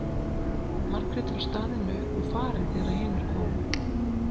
Margrét var staðin upp og farin þegar hinir komu.